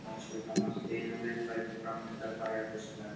Blakkur hestur kom allt í einu léttfættur fram undan bæjarhúsunum.